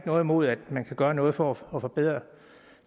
noget imod at man kan gøre noget for at forbedre